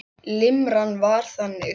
Limran var þannig: